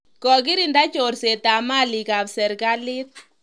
Kokirinda chorsetab malikab serikalit.